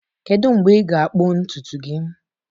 Kedu mgbe ị ga-akpụ ntutu gị?